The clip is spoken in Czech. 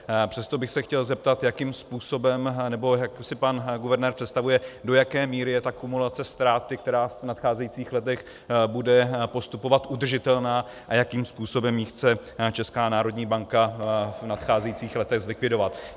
Přesto bych se chtěl zeptat, jakým způsobem... nebo jak si pan guvernér představuje, do jaké míry je ta kumulace ztráty, která v nadcházejících letech bude postupovat, udržitelná a jakým způsobem ji chce Česká národní banka v nadcházejících letech zlikvidovat.